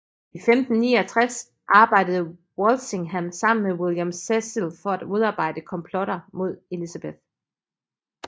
I 1569 arbejdede Walsingham sammen med William Cecil for at modarbejde komplotter mod Elizabeth